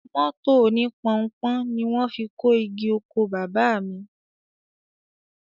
Mọ́tò oní Pọnpọ́n ni wọ́n fi kó igi oko Baba mi